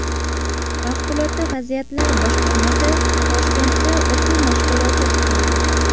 Favqulodda vaziyatlar boshqarmasi Toshkentda o‘quv mashg‘uloti o‘tkazdi.